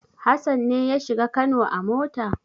Hassan ne ya shiga Kano a mota?